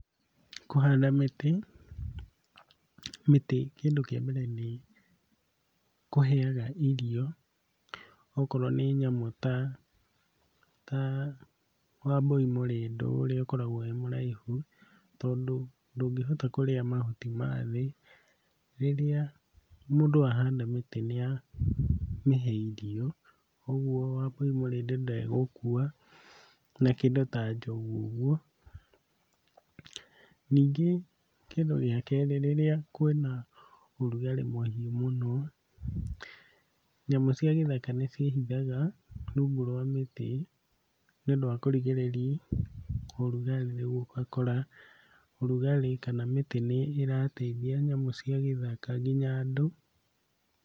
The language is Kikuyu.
Kũhanda mĩtĩ, mĩtĩ kĩndũ kĩa mbere nĩĩkũheaga irio okorwo nĩ nyamũ ta ta wambũi mũrĩndũ ũrĩa ũkoragwo wĩ mũraihu, tondũ ndũngĩhota kũrĩa mahuti ma thĩ, rĩrĩa mũndũ ahanda mĩtĩ nĩamĩhe irio, ũguo wambũi mũrĩndu ndegũkua, na kĩndũ ta njogu ũguo. Ningĩ kĩndũ gĩa kerĩ, rĩrĩa kwĩna ũrugarĩ mũhiũ mũno, nyamũ cia gĩthaka nĩciĩhithaga rungu rwa mĩtĩ nĩũndũ wa kũrigĩrĩria ũrugarĩ rĩu ũgakora ũrugarĩ kana mĩtĩ nĩĩrateithia nyamũ cia gĩthaka nginya andũ.